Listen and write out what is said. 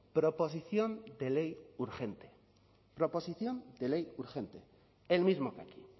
proposición de ley urgente proposición de ley urgente el mismo que aquí